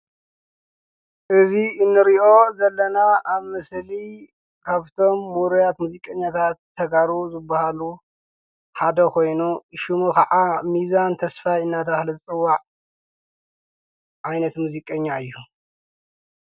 እዙ እንርዮ ዘለና ኣብ ምስሊ ኻብቶም ሙሩያት ሙዚቀኛታት ተጋሩ ዝብሃሉ ሓደ ኾይኑ ሹሙ ኸዓ ሚዛን ተስፋይ እናዳተባሃለ ዝፅዋዕ ኣይነት ሙዚቀኛ እዩ።